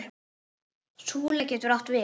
Súla getur átt við